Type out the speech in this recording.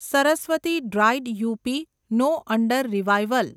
Saraswati dried up, no under revival